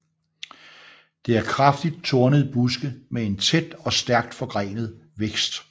Det er kraftigt tornede buske med en tæt og stærkt forgrenet vækst